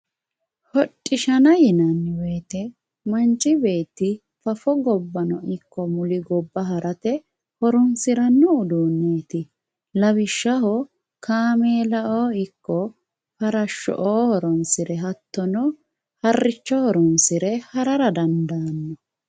hodhishshanna yinanni woyte manchi beetti fafo gobbano ikko muli gobba harate horoonsiranno uduunneeti lawishshaho kaameelao ikko farashshoo horoonsire ikko hatto harricho horoonsire harara danadaanno